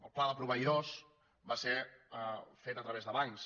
el pla de proveïdors va ser fet a través de bancs